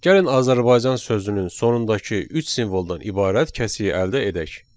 Gəlin Azərbaycan sözünün sonundakı üç simvoldan ibarət kəsiyi əldə edək.